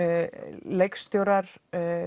leikstjórar